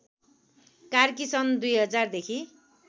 कार्की सन् २०००देखि